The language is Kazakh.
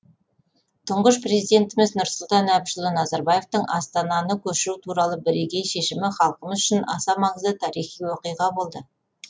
тұңғыш президентіміз нұрсұлтан әбішұлы назарбаевтың астананы көшіру туралы бірегей шешімі халқымыз үшін аса маңызды тарихи оқиға болды